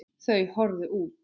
Þau horfðu út.